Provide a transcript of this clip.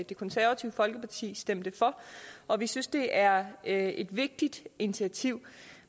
det konservative folkeparti stemte for og vi synes det er et et vigtigt initiativ